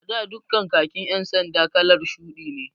A da duka khakin ƴan sanda kalar shuɗi ne